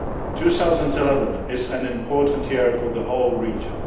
2011 is an important year for the whole region.